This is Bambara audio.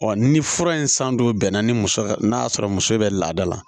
ni fura in san don bɛnna ni muso ka n'a sɔrɔ muso bɛ laada la